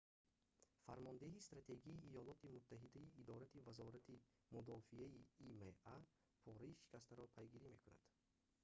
фармондеҳии стратегии иёлоти муттаҳидаи идораи вазорати мудофиаи има пораи шикастаро пайгирӣ мекунад